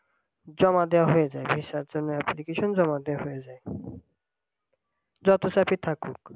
জমা দেওয়া হয়ে যায় visa র জন্য application জমা দেওয়া হয়ে যায় যত চাপই থাকুক